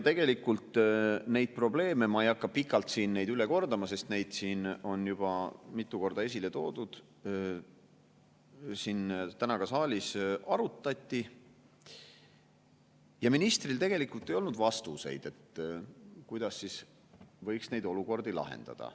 Neid probleeme – ma ei hakka pikalt neid üle kordama, sest neid on juba mitu korda esile toodud – siin täna ka saalis arutati ja ministril tegelikult ei olnud vastuseid, kuidas võiks neid olukordi lahendada.